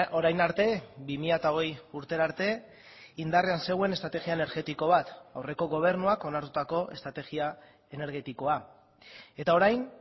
orain arte bi mila hogei urtera arte indarrean zegoen estrategia energetiko bat aurreko gobernuak onartutako estrategia energetikoa eta orain